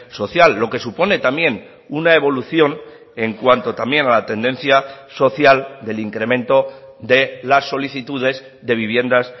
social lo que supone también una evolución en cuanto también a la tendencia social del incremento de las solicitudes de viviendas